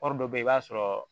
Wari dɔ bɛ yen i b'a sɔrɔ